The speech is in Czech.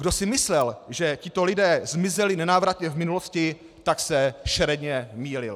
Kdo si myslel, že tito lidé zmizeli nenávratně v minulosti, tak se šeredně mýlil.